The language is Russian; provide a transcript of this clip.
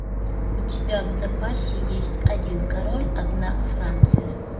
у тебя в запасе есть один король одна франция